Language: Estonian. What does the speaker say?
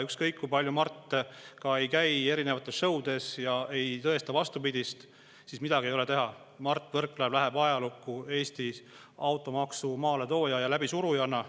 Ükskõik kui palju Mart ka ei käi erinevates šõudes ja ei tõesta vastupidist, midagi ei ole teha, Mart Võrklaev läheb Eesti ajalukku automaksu maaletooja ja läbisurujana.